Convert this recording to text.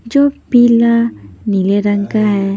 जो पीला नीले रंग का है।